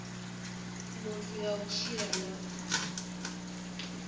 muthu ya u tshila na